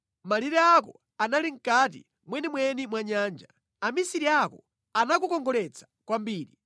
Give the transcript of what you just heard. Malire ako anali mʼkati mwenimweni mwa nyanja; amisiri ako anakukongoletsa kwambiri.